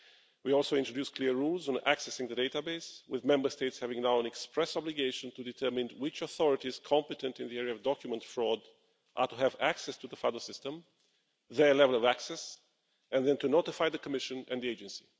We also introduced clear rules on accessing the database, with Member States now having an express obligation to determine which authorities competent in the area of document fraud are to have access to the FADO system and their level of access, and then to notify the Commission and the Agency.